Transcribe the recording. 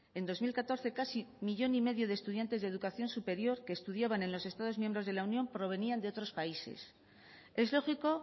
en dos mil catorce casi millón y medio de estudiantes de educación superior que estudiaban en los estados miembros de la unión provenían de otros países es lógico